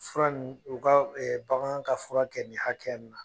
Fura nin u ka bagan ka fura kɛ ni hakɛnin na.